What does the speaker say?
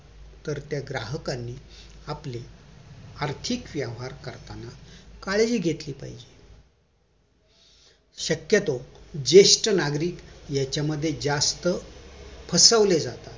तर त्या ग्राहकाने आपली आर्थिक व्यवहार करताना काळजी घेतली पाहिजेत शक्यतो जेष्ठ नागरिक यांच्यामध्ये जास्त फसवले जातात